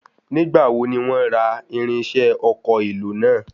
Nígbà wo ni wọ́n ra irinṣẹ́ ọkọ̀ èlò náà?